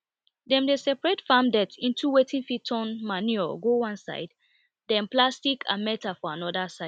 dem dey separate farm dirt into wetin fit turn manure go one side then plastic and metal for another side